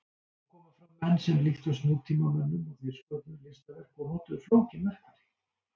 Þá komu fram menn sem líktust nútímamönnum og þeir sköpuðu listaverk og notuðu flókin verkfæri.